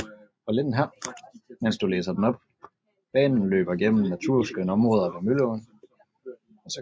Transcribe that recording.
Banen løber gennem naturskønne områder ved Mølleåen